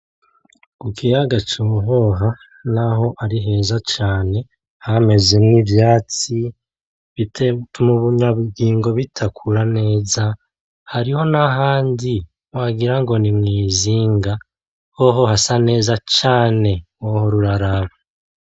Ku kiyaga cohoha naho ari heza cane hamezemwo ivyatsi bituma ibinyabugingo bidakura neza hariho nahandi wagirango nimwizinga hoho hasa neza canee ! Wohora uraharaba .